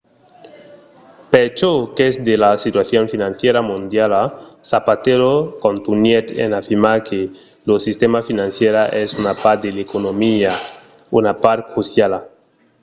per çò qu'es de la situacion financièra mondiala zapatero contunhèt en afirmar que lo sistèma financièra es una part de l'economia una part cruciala